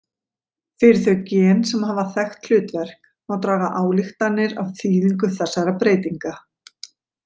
Fyrir þau gen sem hafa þekkt hlutverk má draga ályktanir af þýðingu þessara breytinga.